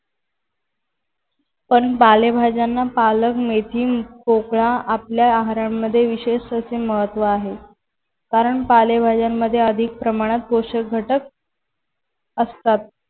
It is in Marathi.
पण पालेभाज्यांना पालक, मेथी, पोकळा आपल्या आहारामध्ये विशेष असे महत्व आहे. कारण पालेभाज्यांमध्ये अधिक अधिक प्रमाणात पोषक घटक असतात.